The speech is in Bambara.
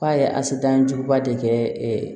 F'a ye asidan juguba de kɛ